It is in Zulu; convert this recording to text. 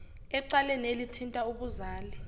ecaleni elithinta ubuzali